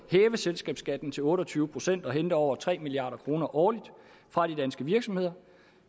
selskabsskatten til otte og tyve procent og hente over tre milliard kroner årligt fra de danske virksomheder